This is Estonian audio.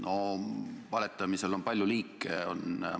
No valetamisel on palju liike.